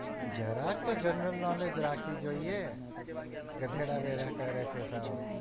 જરાક તો general knowledge રાખવી જોઈએ ગધેડા વેડા કરે છે સાવ